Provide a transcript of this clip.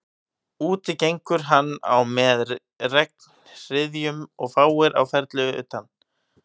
Úti gengur hann á með regnhryðjum og fáir á ferli utan